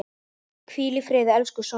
Hvíl í friði, elsku Sonja.